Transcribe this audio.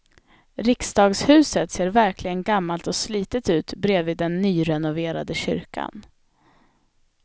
Riksdagshuset ser verkligen gammalt och slitet ut bredvid den nyrenoverade kyrkan.